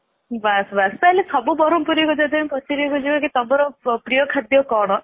ତା ହେଲେ ସବୁ ବ୍ରହ୍ମପୁରୀ ଙ୍କୁ ଯଦି ଆମେ ପଚାରିବା କୁ ଯିବା କି ତୁମର ପ୍ରିୟ ଖାଦ୍ୟ କଣ ଜଳଖିଆ ରେ